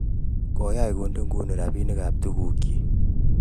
koyach ko nde ng'uny rabinik ab tuguk chik